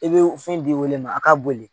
I bɛ fɛn di wele ma a ka boli